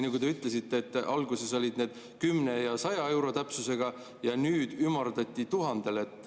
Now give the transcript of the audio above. Te ütlesite, et alguses olid need 10 ja 100 euro täpsusega ja nüüd ümardati 1000‑le.